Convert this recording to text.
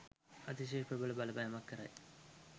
අතිශය ප්‍රබල බලපෑමක් කරයි.